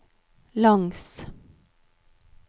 langs